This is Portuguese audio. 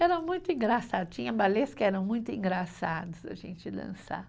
Era muito engraçado, tinha balês que eram muito engraçados a gente dançar.